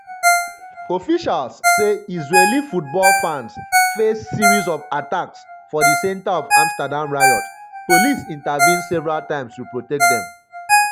officials say israeli football fans face face series of attacks for di centre of amsterdam riot police intervene several times to protect dem.